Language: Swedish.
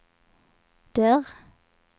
dörr